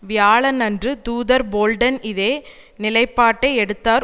வியாழனன்று தூதர் போல்டன் இதே நிலைப்பாட்டை எடுத்தார்